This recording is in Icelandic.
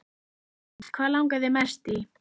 Hrund: Hvað langar þig mest í?